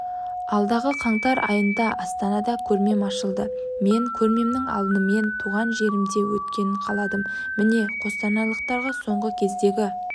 алдағықаңтар айында астанада көрмем ашылады мен көрмемнің алдымен туған жерімде өткенін қаладым міне қостанайлықтарға соңғы кездегі